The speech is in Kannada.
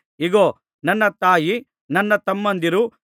ಇಗೋ ನನ್ನ ತಾಯಿ ನನ್ನ ತಮ್ಮಂದಿರು